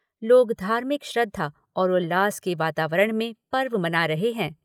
लोग धार्मिक श्रद्धा और उल्लास के वातावरण में पर्व मना रहे हैं।